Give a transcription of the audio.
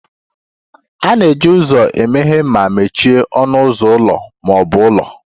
A na-eji ụzọ emeghe ma mechie ọnụ ụzọ ụlọ ma ọ bụ ụlọ